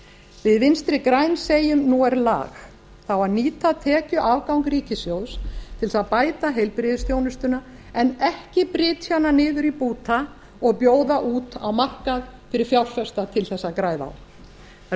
við vinstri græn segjum nú er lag það á að nýta tekjuafgang ríkissjóðs til þess að bæta heilbrigðisþjónustuna en ekki brytja hana niður í búta og bjóða út á markað fyrir fjárfesta til þess að græða það eru